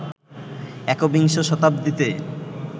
একবিংশ শতাব্দীতে